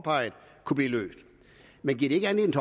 meget ærligt